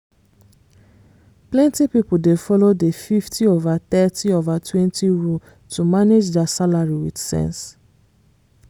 plenty people dey follow the 50/30/20 rule to manage their salary with sense.